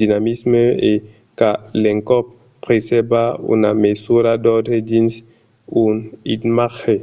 dinamisme e qu'a l'encòp presèrva una mesura d’òrdre dins un imatge